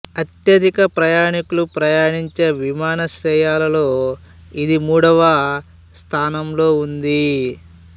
అత్యధిక ప్రయాణీకులు ప్రయాణించే విమానాశ్రయాల్లో ఇది మూడవ స్థానంలో ఉంది